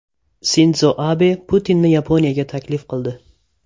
Sindzo Abe Putinni Yaponiyaga taklif qildi.